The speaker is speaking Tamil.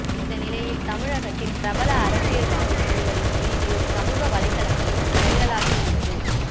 இந்த நிலையில் தமிழகத்தின் பிரபல அரசியல்வாதி ஒருவரின் வீடியோ சமூக வலைத்தளங்களில் வைரலாகியுள்ளது